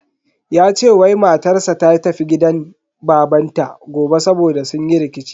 Ya ce wai matar sa ta tafi gidan babanta gobe saboda sun yi rikici.